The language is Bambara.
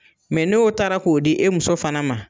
n'o taara k'o di e muso fana ma.